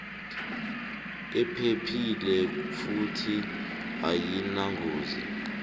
iphephile futhi ayinangozi